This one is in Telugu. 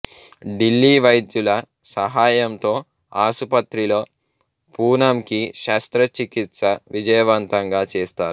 ఢిల్లీ వైద్యుల సహాయంతో ఆసుపత్రిలో పూనంకి శస్త్రచికిత్స విజయవంతంగా చేస్తారు